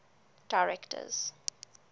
directors